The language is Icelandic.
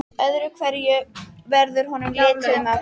Öðru hverju verður honum litið um öxl.